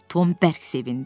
Tom bərk sevindi.